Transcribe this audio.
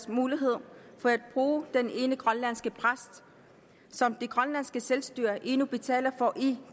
muligheden for at bruge den ene grønlandske præst som det grønlandske selvstyre endnu betaler for i